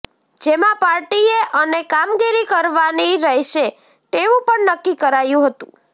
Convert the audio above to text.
જેમાં પાર્ટીએ અને કામગીરી કરવાની રહેશે તેવું પણ નક્કી કરાયું હતું